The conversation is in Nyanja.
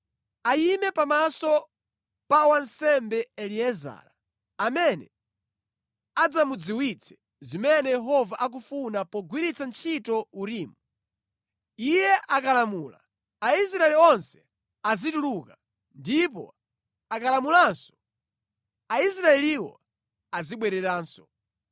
Ayime pamaso pa wansembe Eliezara, amene adzamudziwitse zimene Yehova akufuna pogwiritsa ntchito Urimu. Iye akalamula, Aisraeli onse azituluka ndipo akalamulanso, Aisraeliwo azibwereranso.”